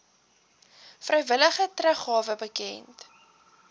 vrywillige teruggawe bekend